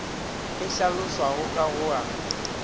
e hlalošwago ka go a